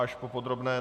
Až po podrobné.